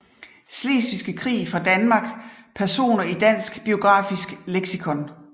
Slesvigske Krig fra Danmark Personer i Dansk Biografisk Leksikon